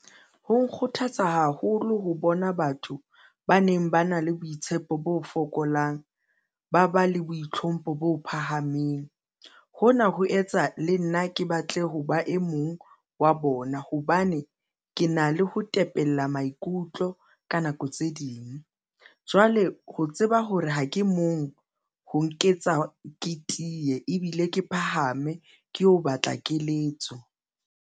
Ho nkgothatsa haholo ho bona batho ba neng ba na le boitshepo bo fokolang, ba ba le boitlhompho bo phahameng. Hona ho etsa le nna ke batle ho ba e mong wa bona, hobane ke na le ho tepella maikutlo ka nako tse ding, jwale ho tseba hore ha ke mong ho nketsa ke tiye ebile ke phahame ke ho batla keletso.